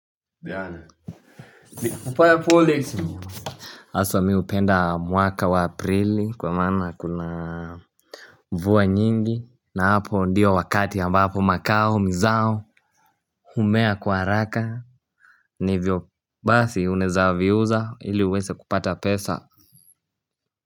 Jana ni kupaa pole tu. Hasa mimi hupenda mwaka wa Aprili kwa maana kuna mvua nyingi na hapo ndiyo wakati ambapo makao mizao humea kwa haraka na hivyo basi unaweza viuza ili uweze kupata pesa.